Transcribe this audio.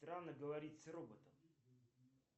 странно говорить с роботом